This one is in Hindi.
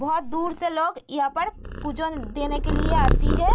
बहुत दूर से लोग यहाँ पर पूजन देने के लिए आती है ।